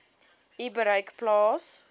u bereik plaas